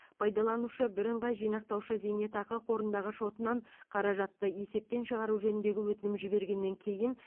пайдаланушы бірыңғай жинақтаушы зейнетақы қорындағы шотынан қаражатты есептен шығару жөніндегі өтінім жібергеннен кейін